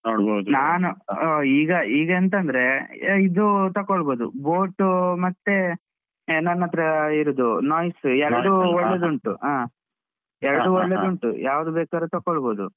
ಆ ಈಗ ಈಗ ಎಂತಂದ್ರೆ ಇದು ತಕೊಳ್ಬೋದು boAt ಮತ್ತೇ ನನ್ನತ್ರ ಇರುದು Noise ಉಂಟು ಹ. ಯಾವ್ದ್ ಬೇಕಾರು ತೊಕೋಳ್ಬೋದು.